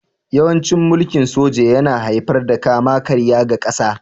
Yawancin mulkin soja yana haifar da kama-karya ga ƙasa